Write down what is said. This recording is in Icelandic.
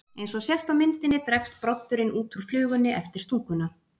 Eins og sést á myndinni dregst broddurinn út úr flugunni eftir stunguna.